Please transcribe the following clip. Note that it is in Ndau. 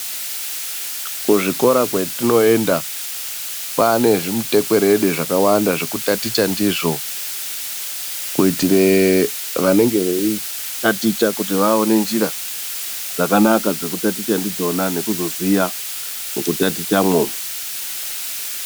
Kuzvikora kwatinoenda kwane zvimutekwerede zvakawanda zvekutaticha ndizvo kuitire vanenge veitaticha kuti vaone njira dzakanaka dzekutaticha ndidzona nekuzoziya mukutatichamwo.